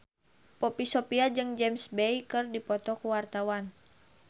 Poppy Sovia jeung James Bay keur dipoto ku wartawan